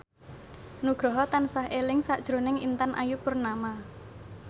Nugroho tansah eling sakjroning Intan Ayu Purnama